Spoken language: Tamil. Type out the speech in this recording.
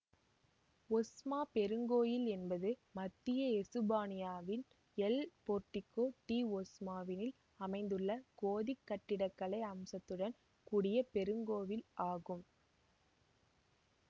ஒஸ்மா பெருங்கோவில் என்பது மத்திய எசுப்பானியாவின் எல் பேர்கோ டி ஒஸ்மாவினில் அமைந்துள்ள கோதிக் கட்டிடக்கலை அம்சத்துடன் கூடிய பெருங்கோவில் ஆகும்